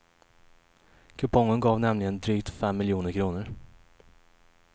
Kupongen gav nämligen drygt fem miljoner kronor.